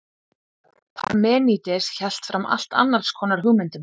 parmenídes hélt fram allt annars konar hugmyndum